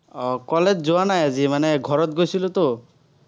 আহ college যোৱা নাই আজি। মানে, ঘৰত গৈছিলোতো।